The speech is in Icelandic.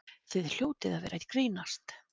Þið hljótið að vera að grínast!